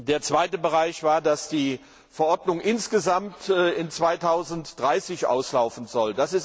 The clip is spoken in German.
Der zweite Bereich ist, dass die Verordnung insgesamt im Jahr 2030 auslaufen soll.